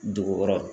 Dugu kɔrɔ